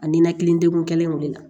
A ninakili degun kelen wulila